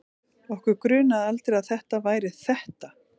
Okkur grunaði aldrei að það væri ÞETTA!